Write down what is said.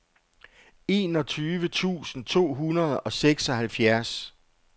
enogtyve tusind to hundrede og seksoghalvfjerds